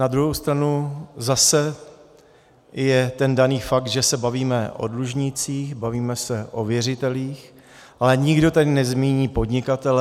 Na druhou stranu zase je ten daný fakt, že se bavíme o dlužnících, bavíme se o věřitelích, ale nikdo tady nezmíní podnikatele.